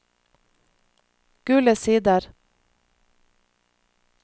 Gule Sider